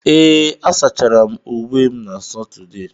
Ee, asachara m uwe m na Satọde.